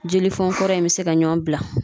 Jelifɔn kɔrɔ in be se ka ɲɔn bila